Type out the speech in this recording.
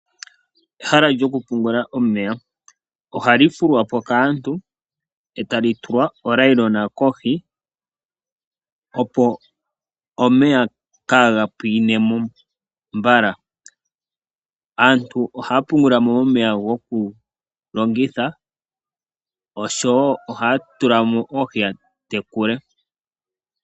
Ehala lyokupungula omeya. Ohali fulwa po kaantu, e tali tulwa onayilona kohi opo omeya kaaga pwiine mo mbala. Aantu ohaya pungula mo omeya go ku longitha, oshowo ohaya tula mo oohi ya tekule.